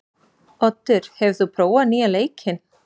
Oddur, hefur þú prófað nýja leikinn?